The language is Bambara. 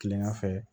Kilegan fɛ